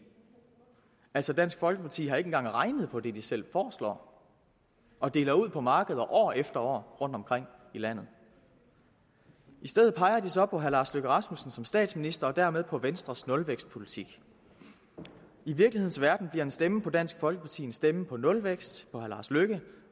altså dansk folkeparti har ikke engang regnet på det de selv foreslår og deler ud på markeder år efter år rundtomkring i landet i stedet peger de så på herre lars løkke rasmussen som statsminister og dermed på venstres nulvækstpolitik i virkelighedens verden bliver en stemme på dansk folkeparti en stemme på nulvækst på herre lars løkke